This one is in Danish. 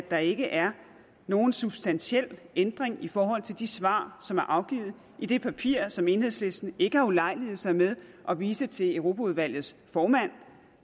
at der ikke er nogen substantiel ændring i forhold til de svar som er afgivet i det papir som enhedslisten ikke har ulejliget sig med at vise til europaudvalgets formand